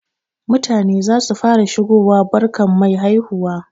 Mutane zasu fara shigowa barkan mai haihuwa.